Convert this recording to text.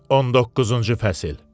19-cu fəsil.